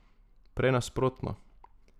Prej nasprotno.